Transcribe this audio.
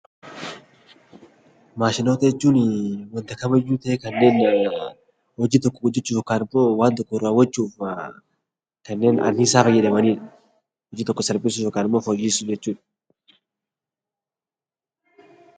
Maashinota jechuun hojii tokko hojjachuuf yookaan waan tokko raawwachuuf kanneen anniisaa fayyadamanii hojii salphisan jechuudha.